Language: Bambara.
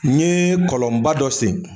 N ye kɔlɔnba dɔ sen